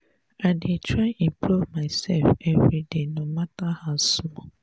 i dey try improve mysef everyday no mata how small.